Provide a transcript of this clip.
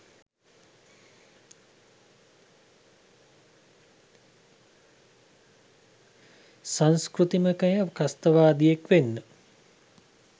සංස්කෘතිකමය ත්‍රස්තවාදියෙක් වෙන්න